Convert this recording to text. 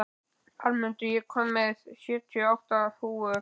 Arnmundur, ég kom með sjötíu og átta húfur!